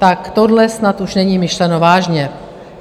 Tak tohle snad už není myšleno vážně.